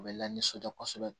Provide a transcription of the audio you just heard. U bɛ lanisɔndiya kosɛbɛ